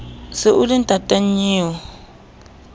se o le ntata nnyeo